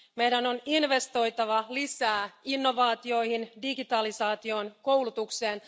Meidän on investoitava lisää innovaatioihin, digitalisaatioon ja koulutukseen.